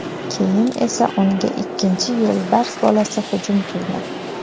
Keyin esa unga ikkinchi yo‘lbars bolasi hujum qilgan.